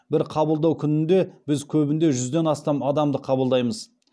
бір қабылдау күнінде біз көбінде жүзден астам адамды қабылдаймыз